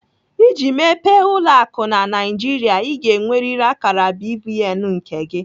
Iji mepee ụlọ akụ na Naijiria, Ị ga-enweriri akara BVN nke gị.